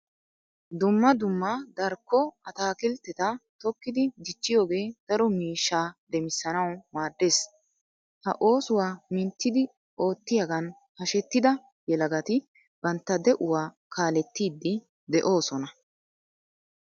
Dumma dumma darkko ataakiltteta tokkidi dichchiyogee daro miishshaa demissanawu maaddees. Ha oosuwa minttidi oottiyigan hashetida yelagati bantta de'uwa kaalettiiddi de'oosona.